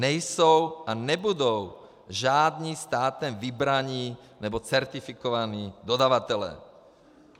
Nejsou a nebudou žádní státem vybraní nebo certifikovaní dodavatelé.